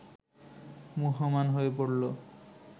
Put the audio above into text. মুহ্যমান হয়ে পড়ল